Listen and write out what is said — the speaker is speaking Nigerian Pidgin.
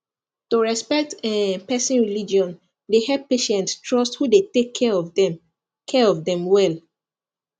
to respect um person religion dey help patients trust who dey take care of them care of them well